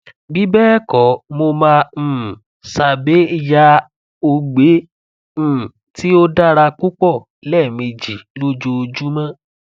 bibẹẹkọ mo ma um sabe ya ogbe um ti o dara pupọ lẹ́ẹ̀mejì lójoojúmọ́